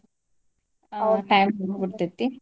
time ಮುಗ್ದ ಬೀಡ್ತೇತಿ.